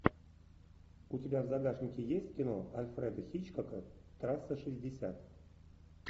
у тебя в загашнике есть кино альфреда хичкока трасса шестьдесят